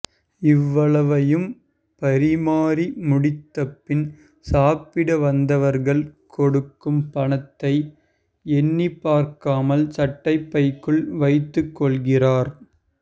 இவ்வளவையும் பரிமாறி முடித்தபின் சாப்பிட வந்தவர்கள் கொடுக்கும் பணத்தை எண்ணிப்பார்க்காமல் சட்டைப்பைக்குள் வைத்துக்கொள்கிறார்